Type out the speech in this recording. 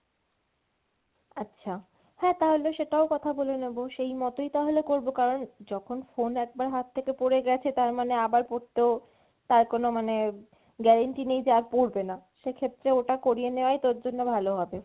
আচ্ছা, হ্যাঁ তাহলে সেটাও কথা বলে নেবো সেই মতেই তাহলে করবো কারন যখন phone একবার হাত থেকে পড়ে গেছে তার মানে আবার পড়তেও তার কোনো মানে guarantee নেই যে আর পড়বেনা। সেক্ষেত্রে ওটা করিয়ে নেওয়াই তোর জন্য ভালো হবে।